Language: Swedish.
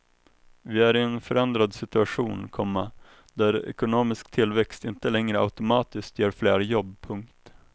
Vi är i en förändrad situation, komma där ekonomisk tillväxt inte längre automatiskt ger fler jobb. punkt